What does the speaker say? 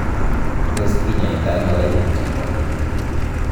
Tos kinyaita ono koimutioniton?